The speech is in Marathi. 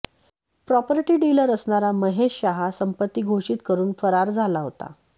प्रॉपर्टी डिलर असणारा महेश शहा संपत्ती घोषित करून फरार झाला होता